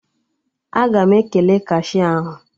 Aga m ekele kashia ahụ